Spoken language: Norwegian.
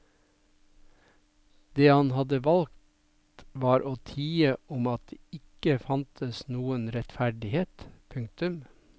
Det han hadde valgt var å tie om at det ikke fantes noen rettferdighet. punktum